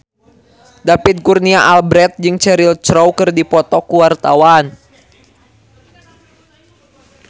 David Kurnia Albert jeung Cheryl Crow keur dipoto ku wartawan